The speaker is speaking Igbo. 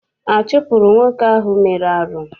A chụpụrụ nwoke ahụ mere arụ?